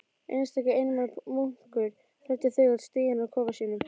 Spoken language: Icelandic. Einstaka einmana munkur þræddi þögull stíginn að kofa sínum.